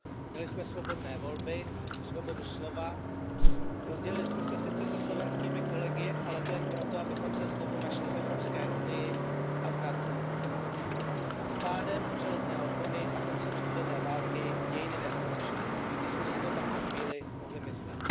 Měli jsme svobodné volby, svobodu slova, rozdělili jsme se sice se slovenskými kolegy, ale to jen proto, abychom se znovu našli v Evropské unii a v NATO. S pádem železné opony a koncem studené války dějiny neskončily, i když jsme si to tak na chvíli mohli myslet.